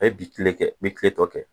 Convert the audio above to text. E bi tile kɛ i bi tile tɔ kɛ